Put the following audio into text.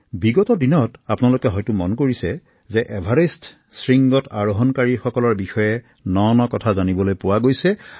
বিগত দিনত আপোনালোকে হয়তো মন কৰিছে যে এভাৰেষ্ট শৃংগত আৰোহন কৰিব বিচৰাসকলৰ বিষয়ে বিভিন্ন নতুন নতুন কথা পোহৰলৈ আহিছে